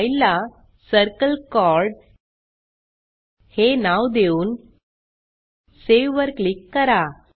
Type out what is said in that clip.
फाईलला circle chord हे नाव देऊन सावे वर क्लिक करा